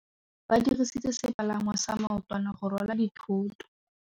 Ba dirisitse sepalangwasa maotwana go rwala dithôtô.